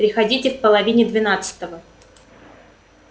приходите в половине двенадцатого